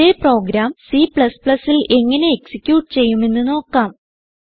ഇതേ പ്രോഗ്രാം Cൽ എങ്ങനെ എക്സിക്യൂട്ട് ചെയ്യുമെന്ന് നോക്കാം